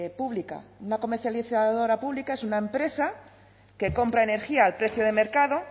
pública una comercializadora pública es una empresa que compra energía al precio de mercado